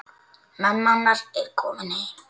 Mamma hennar er komin heim.